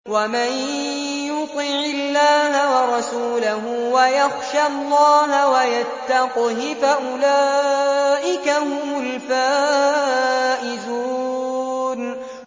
وَمَن يُطِعِ اللَّهَ وَرَسُولَهُ وَيَخْشَ اللَّهَ وَيَتَّقْهِ فَأُولَٰئِكَ هُمُ الْفَائِزُونَ